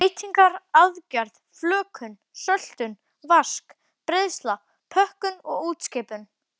Beitingar, aðgerð, flökun, söltun, vask, breiðsla, pökkun og útskipun.